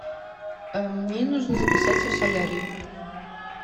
мне нужно записаться в солярий